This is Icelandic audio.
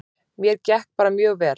Mér gekk bara mjög vel.